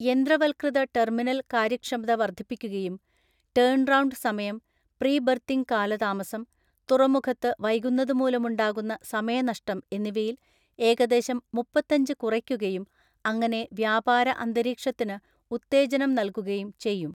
യന്ത്രവത്കൃത terminal‍ കാര്യക്ഷമത വർദ്ധിപ്പിക്കുകയും turnaround സമയം, പ്രീ ബർത്തിങ് കാലതാമസം, തുറമുഖത്ത് വൈകുന്നതു മൂലമുണ്ടാകുന്ന സമയ നഷ്ടം എന്നിവയില്‍ ഏകദേശം മുപ്പത്തഞ്ച് കുറയ്ക്കുകയും, അങ്ങനെ വ്യാപാര അന്തരീക്ഷത്തിന് ഉത്തേജനം നല്‍കുകയും ചെയ്യും.